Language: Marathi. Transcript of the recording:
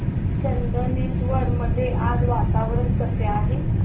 चंदनेश्वर मध्ये आज वातावरण कसे आहे